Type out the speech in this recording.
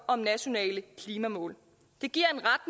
om nationale klimamål det giver